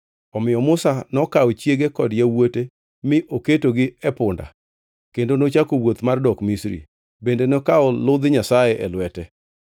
Omiyo Musa nokawo chiege kod yawuote, mi oketogi e punda kendo nochako wuoth mar dok Misri. Bende nokawo ludh Nyasaye e lwete.